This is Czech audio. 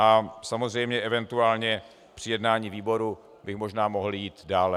A samozřejmě eventuálně při jednání výboru bych možná mohl jít dále.